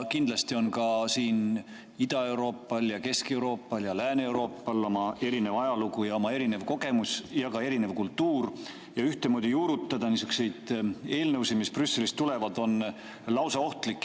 Kindlasti on Ida-Euroopal ja Kesk-Euroopal ja Lääne-Euroopal oma erinev ajalugu, erinev kogemus ja erinev kultuur ning ühtemoodi juurutada niisuguseid eelnõusid, mis Brüsselist tulevad, on lausa ohtlik.